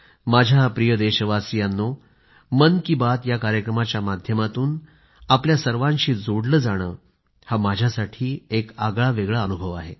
माझ्या प्रिय देशवासियांनो मन की बात या कार्यक्रमाच्या माध्यमातून आपल्या सर्वांशी जोडले जाणे हा माझ्यासाठी एक आगळावेगळा अनुभव आहे